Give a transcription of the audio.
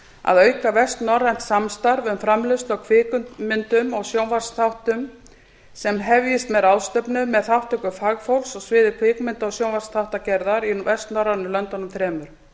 að auka vestnorrænt samstarf um framleiðslu á kvikmyndum og sjónvarpsþáttum sem hefjist með ráðstefnu með þátttöku fagfólks á sviði kvikmynda og sjónvarpsþáttagerðar í vestnorrænu löndunum þremur